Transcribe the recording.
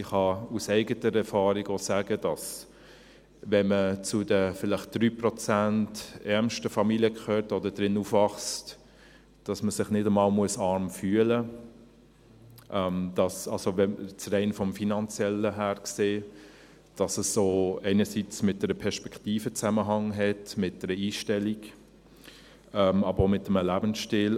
Ich kann aus eigener Erfahrung auch sagen, dass man, wenn man zu den vielleicht 3 Prozent der ärmsten Familien gehört oder darin aufwächst, sich nicht einmal arm fühlen muss, jetzt rein vom Finanziellen her gesehen, dass es einerseits auch mit einer Perspektive einen Zusammenhang hat, mit einer Einstellung, andererseits aber auch mit einem Lebensstil.